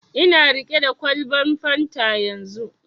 Ina riƙe da kwalban fanta yanzu